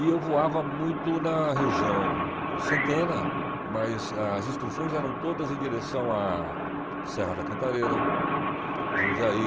E eu voava muito na região Santana, mas as instruções eram todas em direção à Serra da Cantareira, Jundiaí.